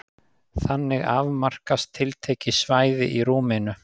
Þannig afmarkast tiltekið svæði í rúminu.